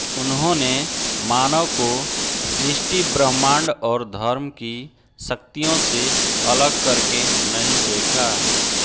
उन्होंने मानव को सृष्टि ब्रह्माण्ड और धर्म की शक्तियों से अलग करके नहीं देखा